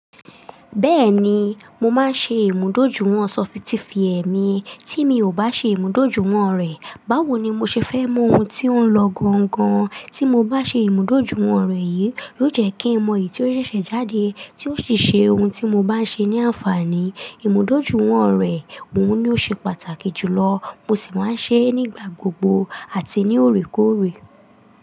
Bẹ́ẹ̀ni, mo máa ń ṣe ìmúdójúìwọ̀n sọfitì fi ẹ̀ mí, tí mi ò bá ṣe ìmúdójúìwọ̀n rẹ̀, báwo ni mo ṣe fẹ́ mọ ohun tí ó ń lọ gangan, tí mo bá ṣe ìmúdójúìwọ̀n rẹ̀ yìí, yóò jẹ́ kí n mọ̀n eyìí tí ó ṣẹ̀ṣẹ̀ jáde tí ó sì ṣe ohun tí mo bá ń ṣe ní àǹfààní. Ìmúdójúìwọ̀n rẹ̀, òun ni ó ṣe pàtàkì jù lọ, mo sì máa ń ṣe é nígbà gbogbo àti ní òrekóòrè.